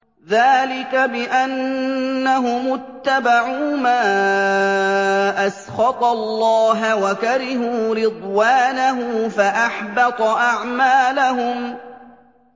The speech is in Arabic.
ذَٰلِكَ بِأَنَّهُمُ اتَّبَعُوا مَا أَسْخَطَ اللَّهَ وَكَرِهُوا رِضْوَانَهُ فَأَحْبَطَ أَعْمَالَهُمْ